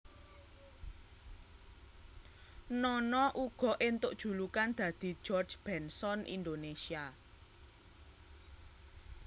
Nono uga éntuk julukan dadi George Benson Indonésia